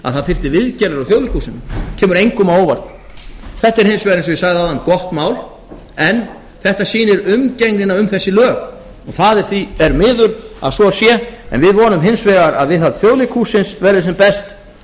að það þyrfti að fara út í viðgerðir á þjóðleikhúsinu það kemur engum á óvart þetta er hins vegar eins og ég sagði áðan gott mál en sýnir umgengnina um þessi lög og það er miður að svo sé við vonum hins vegar að viðhald þjóðleikhússins verði sem best